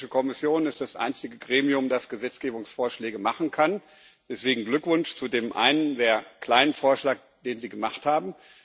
Die Europäische Kommission ist das einzige Gremium, das Gesetzgebungsvorschläge machen kann. Deswegen Glückwunsch zu dem einen, sehr kleinen Vorschlag, den Sie gemacht haben.